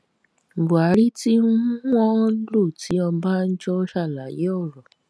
buhari tí um wọn lò ti ọbànjọ ṣàlàyé ọrọ